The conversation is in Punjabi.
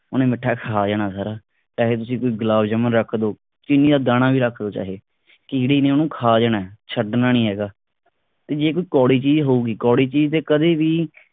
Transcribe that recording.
ਉਨੇ ਮਿੱਠਾ ਖਾ ਜਾਣਾ ਸਾਰਾ ਚਾਹੇ ਤੁਸੀ ਕੋਈ ਗੁਲਾਬ ਜਾਮੁਨ ਰੱਖ ਦੋ ਚੀਨੀ ਦਾ ਦਾਣਾ ਵੀ ਰੱਖ ਦੋ ਚਾਹੇ ਕੀੜੀ ਨੇ ਉਹਨੂੰ ਖਾ ਜਾਣਾ ਛੱਡਣਾ ਨੀ ਹੈਗਾ ਤੇ ਜੇ ਕੋਈ ਕੋੜੀ ਚੀਜ ਹੋਉਗੀ ਕੌੜੀ ਚੀਜ ਤੇ ਕਦੇ ਵੀ